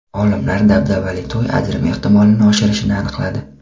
Olimlar dabdabali to‘y ajrim ehtimolini oshirishini aniqladi.